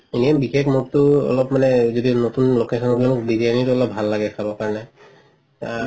এনেও বিশেষ মোৰতো অলপ মানে যদি নতুন location হলে মোৰ বিৰিয়ানি হলে ভাল লাগে খাব কাৰণে